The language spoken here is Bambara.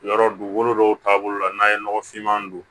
Yɔrɔ dugukolo dɔw taabolo la n'a ye nɔgɔfinman don